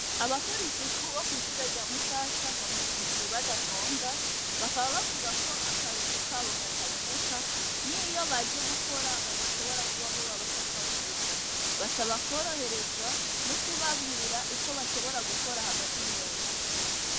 Abakora isuku bo kwishure rya mushasha bamaze indwi badatonda bakaba bavuga ko akarusho kabo kataboneka niyo baje gukora badashobira kuba boba bafatwa neza basaba kworoherezwa nukubabwira uko bashobora gukora hagati mundwi.